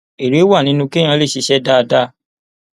èrè wà nínú kéèyàn lè ṣiṣẹ dáadáa